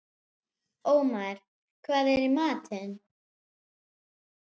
Ómar, hvað er í matinn?